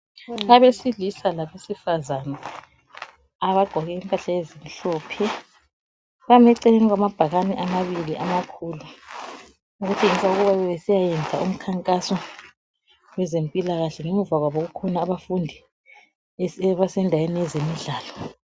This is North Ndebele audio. abesilisa labesifazane abagqoke impahla ezimhlophe bame eceleni kwamabhakane amabili amakhulu okutshengisa ukuba bebesiyayenza imikhankaso yezempilakahle ngemuva kwabo kukhona abafundi abasendaweni yezemidlalo